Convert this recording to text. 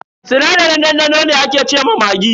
Sinadarin dandano ne ake ce ma maggi.